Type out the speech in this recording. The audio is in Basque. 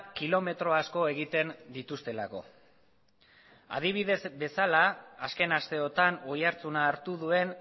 kilometro asko egiten dituztelako adibide bezala azken asteotan oihartzuna hartu duen